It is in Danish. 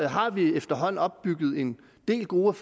har vi efterhånden opbygget en del gode